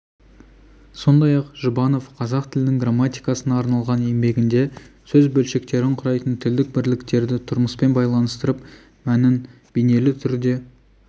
сондай-ақ жұбанов қазақ тілінің грамматикасына арналған еңбегінде сөз бөлшектерін құрайтын тілдік бірліктерді тұрмыспен байланыстырып мәнін бейнелі түрде